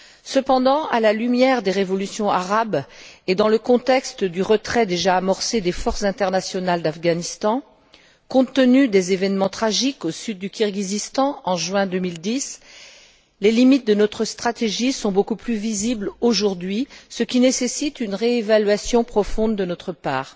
Cependant, à la lumière des révolutions arabes, et dans le contexte du retrait déjà amorcé des forces internationales d'Afghanistan, compte tenu des événements tragiques au sud du Kirghizstan en juin 2010, les limites de notre stratégie sont beaucoup plus visibles aujourd'hui, ce qui nécessite une réévaluation profonde de notre part.